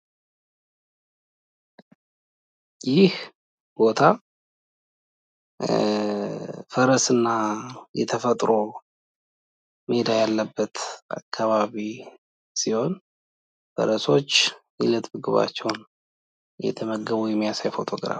ይህ ቦታ ፈረስ እና ተፈጥሮ ሜዳ ያለበት አካባቢ ሲሆን ፈረሶች የእለት ምግባቸውን እየበሉ እናያለን።